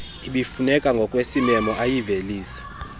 ebifuneka ngokwesimemo ayivelise